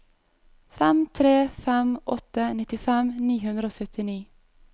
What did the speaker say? fem tre fem åtte nittifem ni hundre og syttini